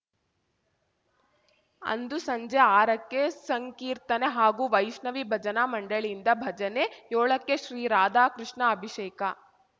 ಅಂದು ಸಂಜೆ ಆರಕ್ಕೆ ಸಂಕೀರ್ತನೆ ಹಾಗೂ ವೈಷ್ಣವಿ ಭಜನಾ ಮಂಡಳಿಯಿಂದ ಭಜನೆ ಯೋಳಕ್ಕೆ ಶ್ರೀ ರಾಧಾಕೃಷ್ಣ ಅಭಿಷೇಕ